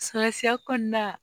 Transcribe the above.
Salatiya kɔnɔna